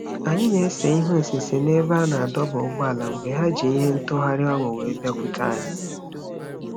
Anyị na-ese ihe osise n'ebe a na-adọba ụgbọala mgbe ha ji ihe ntagharị ọnụ wee bịakwute anyị.